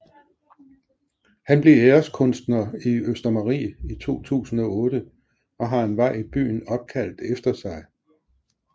Han blev æreskunstner i Østermarie i 2008 og har en vej i byen opkaldt efter sig